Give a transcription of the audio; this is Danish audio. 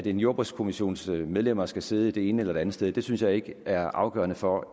en jordbrugskommissions medlemmer skal sidde det ene eller det andet sted synes jeg ikke er afgørende for